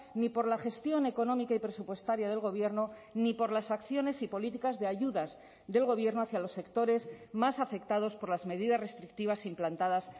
ni por la gestión económica y presupuestaria del gobierno ni por las acciones y políticas de ayudas del gobierno hacia los sectores más afectados por las medidas restrictivas implantadas